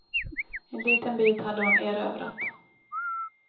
En liten bit hade hon erövrat.